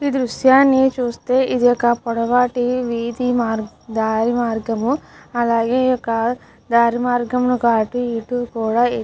ఈ దృశ్యాన్ని చుస్తే ఇదొక పొడవాటి వీధి మా దారి మార్గము అలాగే ఇక దారి మార్గము యొక్క అటు ఇటు కూడా ఏ --